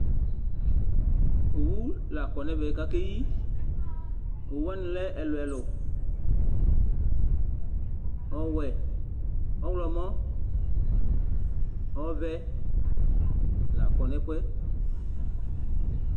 Owu la kɔ nʋ ɛvɛ kʋ Akeyi Owu wani lɛ ɛlʋ ɛlʋ Ɔwɛ, ɔwlɔmɔ, ɔvɛ la kɔ nʋ ɛfʋɛ